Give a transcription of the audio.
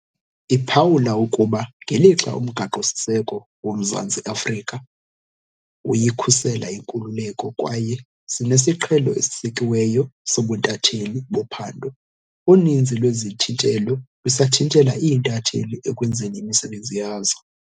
Iphawula ukuba ngelixa uMgaqo-siseko woMzantsi Afrika uyikhusela inkululeko kwaye sinesiqhelo esisekiweyo sobuntatheli bophando, uninzi lwezithintelo lusathintela iintatheli ekwenzeni imisebenzi yazo.